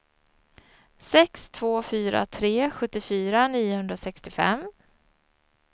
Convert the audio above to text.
sex två fyra tre sjuttiofyra niohundrasextiofem